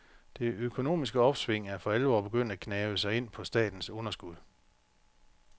Det økonomiske opsving er for alvor begyndt at gnave sig ind på statens underskud.